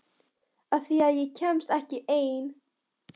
Af því að ég kemst ekki ein.